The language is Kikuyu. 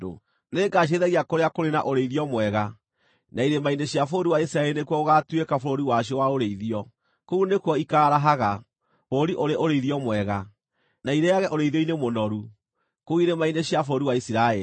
Nĩngacirĩithagia kũrĩa kũrĩ na ũrĩithio mwega, na irĩma-inĩ cia bũrũri wa Isiraeli nĩkuo gũgaatuĩka bũrũri wacio wa ũrĩithio. Kũu nĩkuo ikaarahaga, bũrũri ũrĩ ũrĩithio mwega, na irĩĩage ũrĩithio-inĩ mũnoru, kũu irĩma-inĩ cia bũrũri wa Isiraeli.